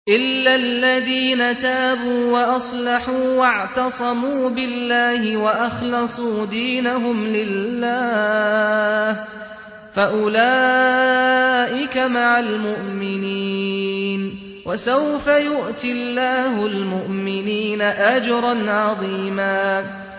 إِلَّا الَّذِينَ تَابُوا وَأَصْلَحُوا وَاعْتَصَمُوا بِاللَّهِ وَأَخْلَصُوا دِينَهُمْ لِلَّهِ فَأُولَٰئِكَ مَعَ الْمُؤْمِنِينَ ۖ وَسَوْفَ يُؤْتِ اللَّهُ الْمُؤْمِنِينَ أَجْرًا عَظِيمًا